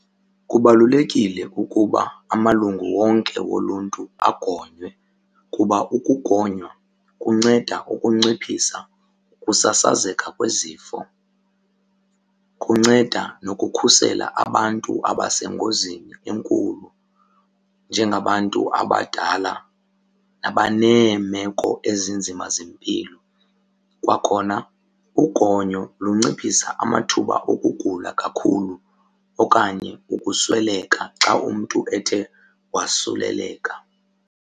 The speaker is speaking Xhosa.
Kubalulekile ukuba amalungu wonke woluntu agonywe kuba ukugonywa kunceda ukunciphisa ukusasazeka kwezifo. Kunceda nokukhusela abantu abasengozini enkulu njengabantu abadala abaneemeko ezinzima zempilo. Kwakhona ugonyo lunciphisa amathuba okugula kakhulu okanye ukusweleka xa umntu ethe wasuleleka.